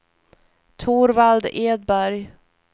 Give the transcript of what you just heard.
Torvald Edberg